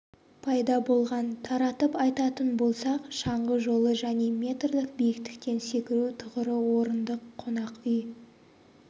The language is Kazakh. пайда болған таратып айтатын болсақ шаңғы жолы және метрлік биіктіктен секіру тұғыры орындық қонақ үй